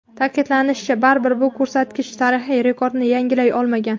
Ta’kidlanishicha, baribir bu ko‘rsatkich tarixiy rekordni yangilay olmagan.